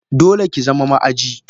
Dole kizama ma aji!